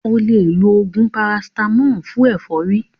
O lè lo oògùn parasítámọ̀ fún ẹ̀fọ́rí.